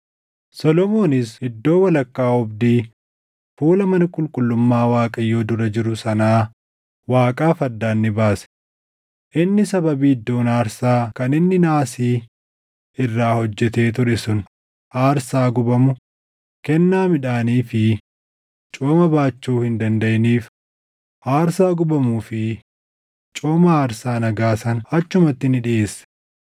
Solomoonis iddoo walakkaa oobdii fuula mana qulqullummaa Waaqayyoo dura jiru sanaa Waaqaaf addaan ni baase; inni sababii iddoon aarsaa kan inni naasii irraa hojjetee ture sun aarsaa gubamu, kennaa midhaanii fi cooma baachuu hin dandaʼiniif aarsaa gubamuu fi cooma aarsaa nagaa sana achumatti ni dhiʼeesse.